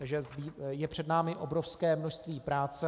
Takže je před námi obrovské množství práce.